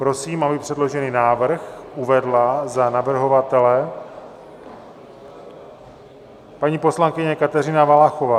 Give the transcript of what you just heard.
Prosím, aby předložený návrh uvedla za navrhovatele paní poslankyně Kateřina Valachová.